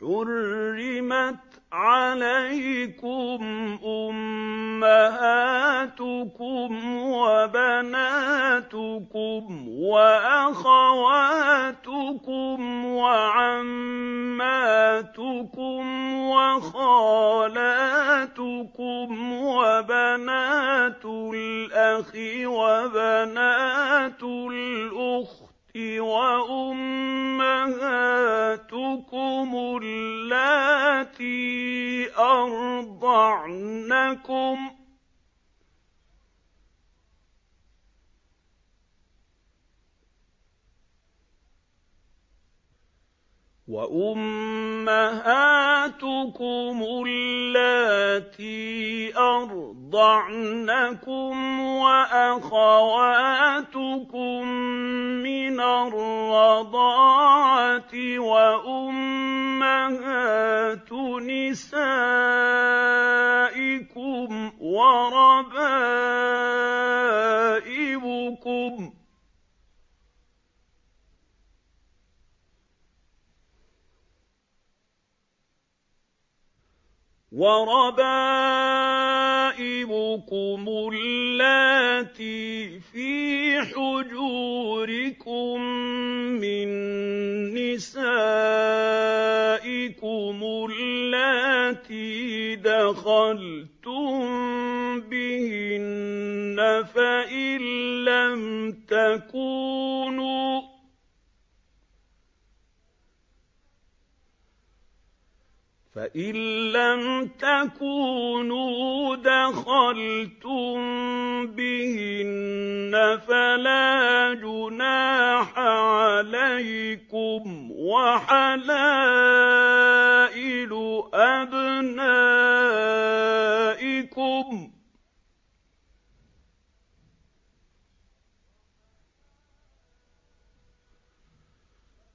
حُرِّمَتْ عَلَيْكُمْ أُمَّهَاتُكُمْ وَبَنَاتُكُمْ وَأَخَوَاتُكُمْ وَعَمَّاتُكُمْ وَخَالَاتُكُمْ وَبَنَاتُ الْأَخِ وَبَنَاتُ الْأُخْتِ وَأُمَّهَاتُكُمُ اللَّاتِي أَرْضَعْنَكُمْ وَأَخَوَاتُكُم مِّنَ الرَّضَاعَةِ وَأُمَّهَاتُ نِسَائِكُمْ وَرَبَائِبُكُمُ اللَّاتِي فِي حُجُورِكُم مِّن نِّسَائِكُمُ اللَّاتِي دَخَلْتُم بِهِنَّ فَإِن لَّمْ تَكُونُوا دَخَلْتُم بِهِنَّ فَلَا جُنَاحَ عَلَيْكُمْ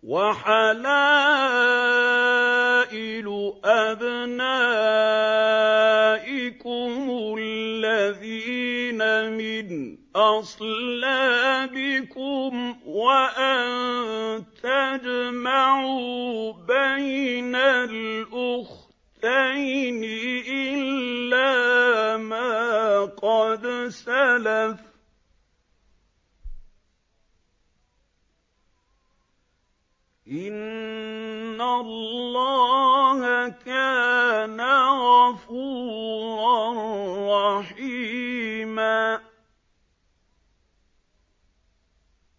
وَحَلَائِلُ أَبْنَائِكُمُ الَّذِينَ مِنْ أَصْلَابِكُمْ وَأَن تَجْمَعُوا بَيْنَ الْأُخْتَيْنِ إِلَّا مَا قَدْ سَلَفَ ۗ إِنَّ اللَّهَ كَانَ غَفُورًا رَّحِيمًا